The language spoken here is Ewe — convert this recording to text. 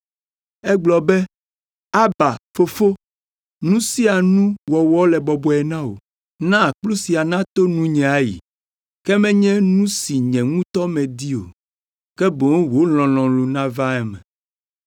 Egblɔ be, “Aba, Fofo, nu sia nu wɔwɔ le bɔbɔe na wò. Na kplu sia nato nunye ayi, ke menye nu si nye ŋutɔ medi o, ke boŋ wò lɔlɔ̃nu nava eme.”